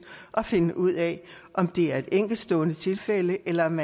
og finde ud af om det er et enkeltstående tilfælde eller om